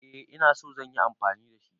Eh ina so zan yi amfani da shi.